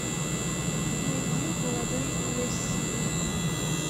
найди молодой мессия